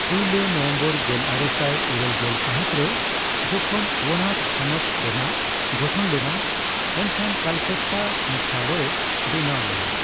ᱯᱩᱭᱞᱟᱹ ᱱᱚᱵᱷᱮᱢᱵᱚᱨ ᱜᱮᱞ ᱟᱨᱮᱥᱟᱭ ᱤᱨᱟᱹᱞᱜᱮᱞ ᱥᱟᱹᱦᱤᱛ ᱨᱮ ᱡᱚᱠᱷᱚᱱ ᱚᱣᱟᱱᱟᱰ ᱦᱚᱱᱚᱛ ᱨᱮᱱᱟᱜ ᱜᱚᱴᱷᱚᱱ ᱞᱮᱱᱟ, ᱮᱱᱠᱷᱟᱱ ᱠᱟᱞᱯᱮᱴᱴᱟ ᱢᱩᱠᱷᱭᱟᱞᱚᱭ ᱵᱮᱱᱟᱣ ᱞᱮᱱᱟ ᱾